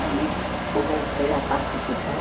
Aí comecei a participar.